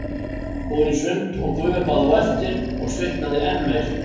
Fór í sund og gufubað á eftir og svitnaði enn meir.